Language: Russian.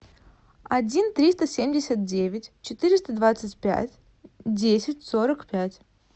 один триста семьдесят девять четыреста двадцать пять десять сорок пять